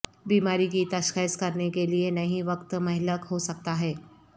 بیماری کی تشخیص کرنے کے لئے نہیں وقت مہلک ہو سکتا ہے